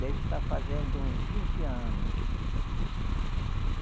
Deve estar fazendo uns vinte anos.